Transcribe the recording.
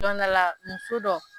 Don dɔ la muso dɔ